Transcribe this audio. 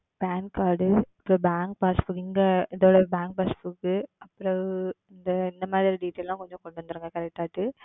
Pan Card அப்புறம் Bank Passbook இங்க இதோட Bank Passbook பிறகு இந்த மாதிரி Details எல்லாம் கொஞ்சம் கொண்டு வந்துருங்க Correct ஆய்ட்டு.